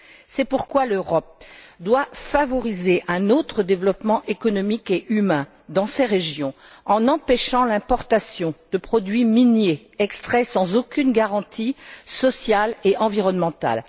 C'est pourquoi l'Europe doit favoriser un autre développement économique et humain dans ces régions, en empêchant l'importation de produits miniers extraits sans aucune garantie sociale et environnementale.